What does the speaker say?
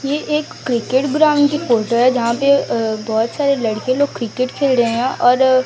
ये एक cricket ground की फोटो है। जहां पे अ बहोत सारे लड़के लोग क्रिकेट खेल रहे हैं और--